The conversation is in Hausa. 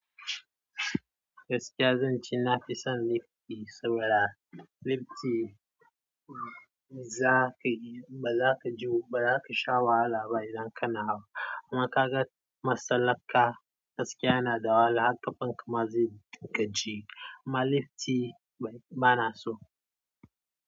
Gaskiya zan ce na fi son lifti saboda lifti za ka yi, ba za ka ji ba za ka sha wahala ba idan kana hawa. Amma ka ga masalar ka gaskiya yana da wahala, har ƙafanka ma zai gaji. Ma lifti ba na so.